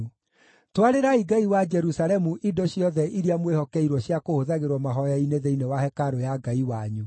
Twarĩrai Ngai wa Jerusalemu indo ciothe iria mwĩhokeirwo cia kũhũthagĩrwo mahooya-inĩ thĩinĩ wa hekarũ ya Ngai wanyu.